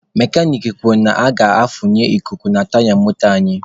Mekanik kwuru na a ga-afunye ikuku na taya moto anyị.